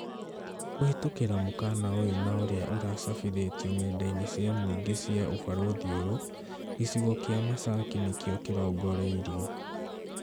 Kũhĩtũkĩra mũkana ũyũ na ũria ũracabithĩtio ng'enda-inĩ cia mũingĩ cia ũbarũthi ũyũ, gĩcigo kĩa Masaki nĩkĩo kĩrongoreirio